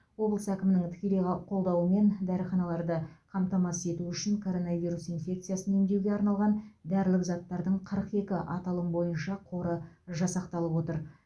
облыс әкімінің тікелей қа қолдауымен дәріханаларды қамтамасыз ету үшін коронавирус инфекциясын емдеуге арналған дәрілік заттардың қырық екі аталым бойынша қоры жасақталып отыр